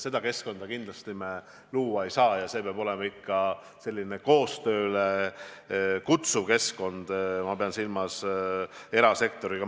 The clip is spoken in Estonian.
Sellist keskkonda kindlasti me luua ei saa ja peab olema ikka selline koostööle kutsuv keskkond, ma pean silmas koostööd erasektoriga.